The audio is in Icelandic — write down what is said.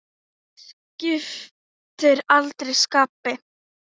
Skiptir aldrei skapi.